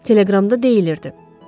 Teleqramda deyilirdi: